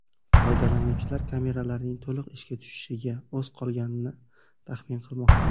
Foydalanuvchilar kameralarning to‘liq ishga tushishiga oz qolganini taxmin qilmoqda.